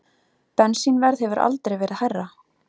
Bensínverð hefur aldrei verið hærra